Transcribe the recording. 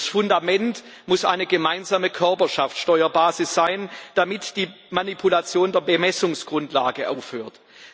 Das Fundament muss eine gemeinsame Körperschaftsteuerbasis sein, damit die Manipulation der Bemessungsgrundlage aufhört.